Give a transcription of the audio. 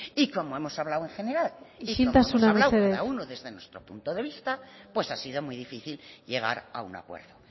y como hemos hablado en general isiltasuna mesedez y como hemos hablado cada uno desde nuestro punto de vista pues ha sido muy difícil llegar a un acuerdo